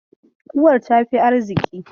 Uwar ta fi arziƙi.